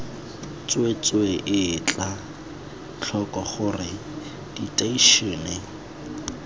tsweetswee etla tlhoko gore diteišene